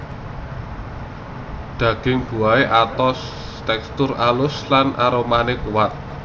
Daging buahé atos tèkstur alus lan aromané kuat